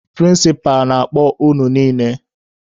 Prịnsịpa na-akpọ unu niile!